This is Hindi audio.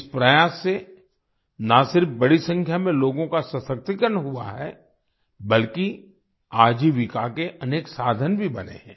इस प्रयास से ना सिर्फ बड़ी संख्या में लोगों का सशक्तिकरण हुआ है बल्कि आजीविका के अनेक साधन भी बने हैं